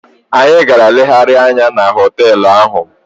Anyị gara legharịa anya na họteelụ ahụ.